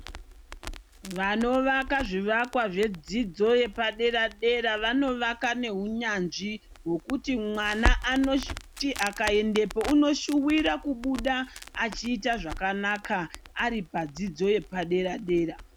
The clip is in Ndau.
Vanovaka zvivakwa zvedzidzo yepadera dera vanovaka nehunyanzvi. Hwekuti mwana akaendapo unoshuvira kubuda echiita zvakanaka ari padzidzo yepadera dera.